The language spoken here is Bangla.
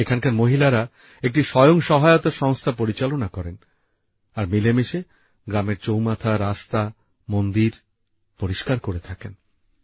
এখানকার মহিলারা একটি স্বয়ং সহায়তা সংস্থা পরিচালনা করেন আর মিলেমিশে গ্রামের চৌমাথা রাস্তা আর মন্দির পরিষ্কার করে থাকেন